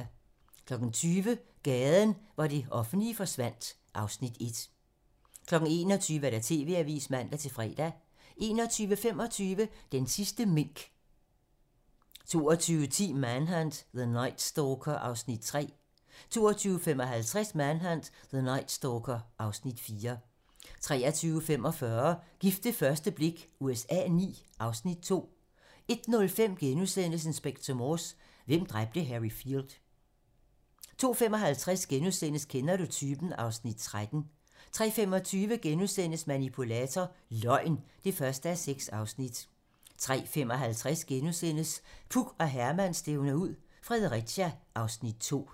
20:00: Gaden, hvor det offentlige forsvandt (Afs. 1) 21:00: TV-Avisen (man-fre) 21:25: Den sidste mink 22:10: Manhunt: The Night Stalker (Afs. 3) 22:55: Manhunt: The Night Stalker (Afs. 4) 23:45: Gift ved første blik USA IX (Afs. 2) 01:05: Inspector Morse: Hvem dræbte Harry Field? * 02:55: Kender du typen? (Afs. 13)* 03:25: Manipulator - Løgn (1:6)* 03:55: Puk og Herman stævner ud - Fredericia (Afs. 2)*